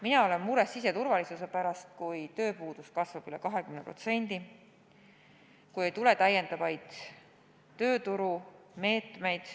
Mina olen mures siseturvalisuse pärast, kui tööpuudus kasvab üle 20% ja kui ei tule täiendavaid tööturumeetmeid.